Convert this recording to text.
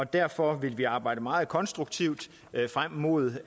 derfor vil vi arbejde meget konstruktivt frem mod